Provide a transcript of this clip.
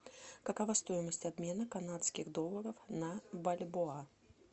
какова стоимость обмена канадских долларов на бальбоа